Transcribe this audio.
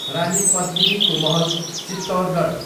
रानी पद्मिनीको महल, चित्तौरगढ